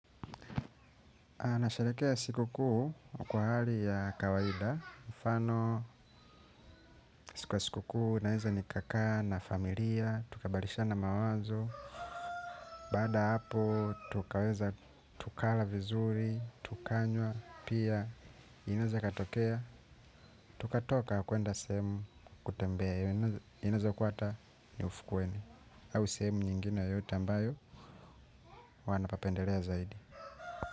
A nasharekea siku kuu kwa hali ya kawaida, mfano siku ya siku kuu naeza nikakaa na familia, tukabadalishana mawazo, baada hapo tukaweza tukala vizuri, tukanywa, pia inaweza katokea, tukatoka kuenda sehemu kutembea, inaeza kuwa ata ni ufukuwene, au sehemu nyingine yoyote ambayo wanapapendelea zaidi.